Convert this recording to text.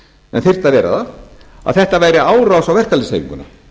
en þyrfti að vera það að þetta væri árás á verkalýðshreyfinguna